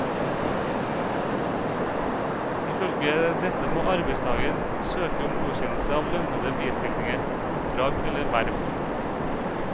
Ifølge dette må arbeidstager søke om godkjennelse av lønnede bistillinger, oppdrag eller verv.